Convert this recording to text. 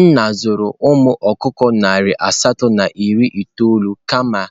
Nna zụrụ umu okukọ nari asatọ na iri itoolu kama